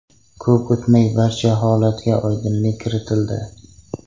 Ko‘p o‘tmay barcha holatga oydinlik kiritildi.